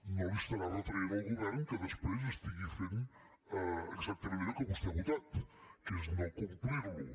no li estarà retraient al govern que després estigui fent exactament allò que vostè ha votat que és no complir lo